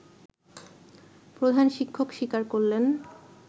প্রধান শিক্ষক স্বীকার করলেন